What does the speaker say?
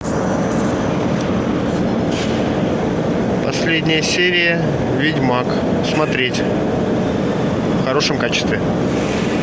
последняя серия ведьмак смотреть в хорошем качестве